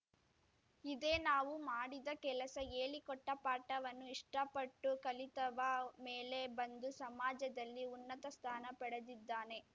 ಇದೇ ನಾವು ಮಾಡಿದ ಕೆಲಸ ಹೇಳಿಕೊಟ್ಟ ಪಾಠವನ್ನು ಇಷ್ಟಪಟ್ಟು ಕಲಿತವ ಮೇಲೆ ಬಂದು ಸಮಾಜದಲ್ಲಿ ಉನ್ನತ ಸ್ಥಾನ ಪಡೆದಿದ್ದಾನೆ